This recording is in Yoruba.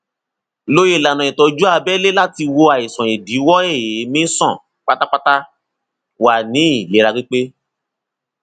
lo ìlànà ìtọjú abẹlé láti wo àìsàn ìdíwọ èémí sàn pátápátá wà ní ìlera pípé